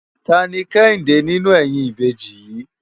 Táni Kehinde ninú èyin ibéji yi?